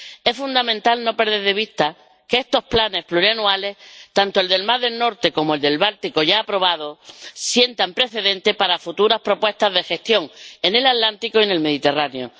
Es fundamental no perder de vista que estos planes plurianuales, tanto el del mar del Norte como el del Báltico, ya aprobado, sientan precedente para futuras propuestas de gestión en el Atlántico y en el Mediterráneo.